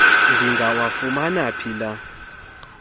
ndingawafumana phi la